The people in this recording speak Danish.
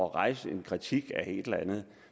rejse en kritik af et eller andet